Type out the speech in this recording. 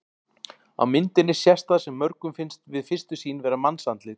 Á myndinni sést það sem mörgum finnst við fyrstu sýn vera mannsandlit.